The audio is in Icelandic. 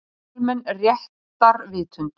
Almenn réttarvitund.